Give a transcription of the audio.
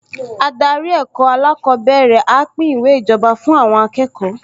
Adarí ẹ̀kọ́ alákọ̀ọ́bẹ̀rẹ̀ á pín ìwé ìjọba fún àwọn akẹ́kọ̀ọ